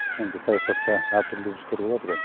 енді саясатта әртүрлі үрдістер болады ғой